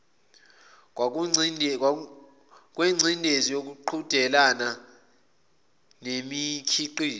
kwengcindezi yokuqhudelana ngemikhiqizo